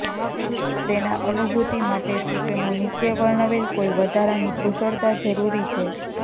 તેના અનુભૂતિ માટે સૂચનો નીચે વર્ણવેલ કોઈ વધારાની કુશળતા જરૂરી છે